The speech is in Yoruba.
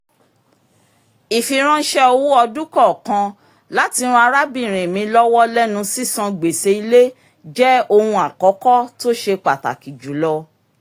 ìfiránṣẹ́ owó ọdún-kọọkan láti ràn arábìnrin mi lọ́wọ́ lẹ́nu sísan gbèsè ilé jẹ́ ohun àkọ́kọ́ tó ṣe pàtàkì jùlọ